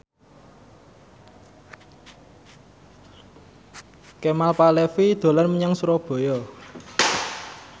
Kemal Palevi dolan menyang Surabaya